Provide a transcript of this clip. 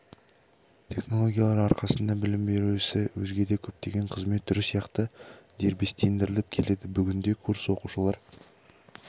технологиялар арқасында білім беру ісі өзге де көптеген қызмет түрі сияқты дербестендіріліп келеді бүгінде курс оқушылар